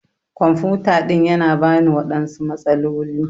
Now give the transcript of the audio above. kwamfuta ɗin Yana bani waɗansu matsaloli.